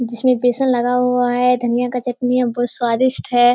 जिसमे बेसन लगा हुआ है धनिया का चटनी है बहुत स्वादिष्ट है।